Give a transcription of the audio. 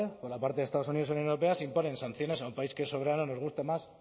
por la parte de estados unidos y la unión europea se imponen sanciones a un país que es soberano nos guste más